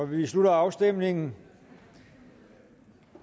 vi slutter afstemningen